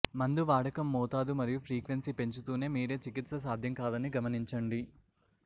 మందు వాడకం మోతాదు మరియు ఫ్రీక్వెన్సీ పెంచుతూనే మీరే చికిత్స సాధ్యం కాదని గమనించండి